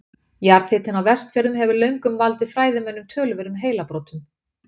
jarðhitinn á vestfjörðum hefur löngum valdið fræðimönnum töluverðum heilabrotum